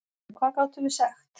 En hvað gátum við sagt?